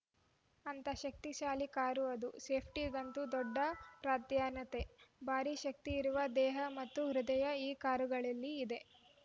ಅಂಥಾ ಶಕ್ತಿಶಾಲಿ ಕಾರು ಅದು ಸೇಫ್ಟಿಗಂತೂ ದೊಡ್ಡ ಪ್ರಾಧಾನ್ಯತೆ ಭಾರಿ ಶಕ್ತಿ ಇರುವ ದೇಹ ಮತ್ತು ಹೃದಯ ಈ ಕಾರುಗಳಲ್ಲಿ ಇದೆ